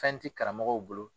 Fɛn tɛ karamɔgɔw bolo